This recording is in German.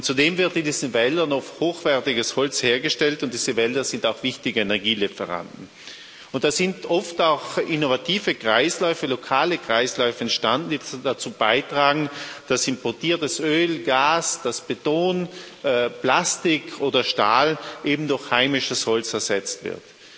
Zudem wird in diesen Wäldern oft hochwertiges Holz hergestellt, und diese Wälder sind auch wichtige Energielieferanten. Es sind oft auch innovative Kreisläufe, lokale Kreisläufe entstanden, die dazu beitragen, dass importiertes Öl, Gas, dass Beton, Plastik oder Stahl eben durch heimisches Holz ersetzt wird.